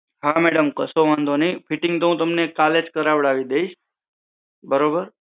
હા મેડમ કસો વાંધો નઈ fitting તો હું તમને કાલેજ કરાવડાવી દઈશ